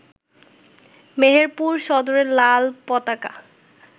মেহেরপুর সদরে লাল পতাকা